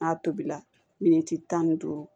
N'a tobila miniti tan ni duuru